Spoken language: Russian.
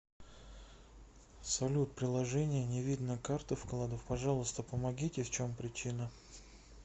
салют приложение не видно карт и вкладов пожалуйста помогите в чем причина